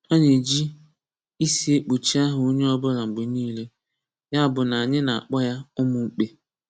Ana eji ịsị ekpochi aha onye ọ bụla mgbe niile, ya bụ na anyị na-akpọ ya ụmụmkpe.